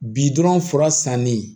Bi dɔrɔn fura sannen